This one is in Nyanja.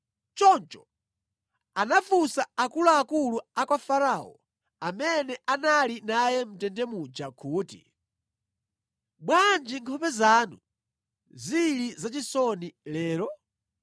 Choncho anafunsa akuluakulu a kwa Farao amene anali naye mʼndende muja kuti, “Bwanji nkhope zanu zili zachisoni lero?”